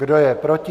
Kdo je proti?